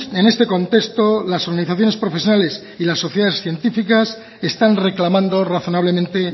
en este contexto las organizaciones profesionales y las sociedades científicas están reclamando razonablemente